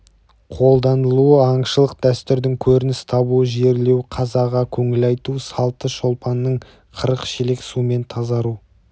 қолданылуы аңшылық дәстүрдің көрініс табуы жерлеу қазаға көңіл айту салты шолпанның қырық шелек сумен тазару